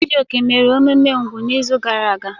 Chijioke mere emume úgwù n'izu gara aga.